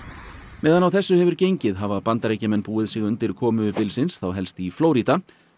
meðan á þessu hefur gengið hafa Bandaríkjamenn búið sig undir komu bylsins þá helst í Flórída